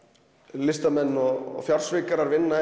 listamenn og fjársvikarar vinna